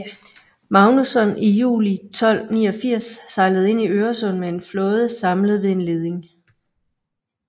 Magnusson i juli 1289 sejlede ind i Øresund med en flåde samlet ved en leding